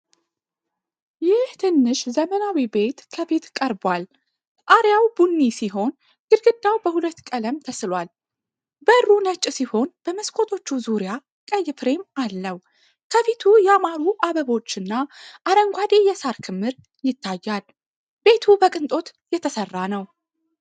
ይህ ትንሽ ዘመናዊ ቤት ከፊት ቀርቧል። ጣሪያው ቡኒ ሲሆን ግድግዳው በሁለት ቀለም ተስሏል። በሩ ነጭ ሲሆን በመስኮቶቹ ዙሪያ ቀይ ፍሬም አለው። ከፊት ያማሩ አበባዎችና አረንጓዴ የሳር ክምር ይታያል። ቤቱ በቅንጦት የተሰራ ነው።